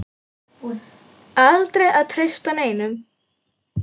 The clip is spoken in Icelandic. Aldrei að treysta neinum.